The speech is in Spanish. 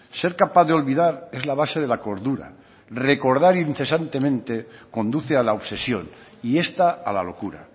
ser capaz de olvidar es la base de la cordura recordar incesantemente conduce a la obsesión y esta a la locura